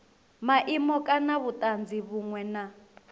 maimo kana vhutanzi vhunwe na